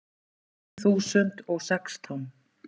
Tvö þúsund og sextán